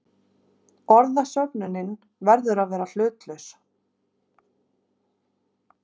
Orðasöfnunin verður að vera hlutlaus.